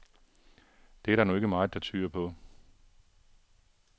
Det er der nu ikke meget, der tyder på.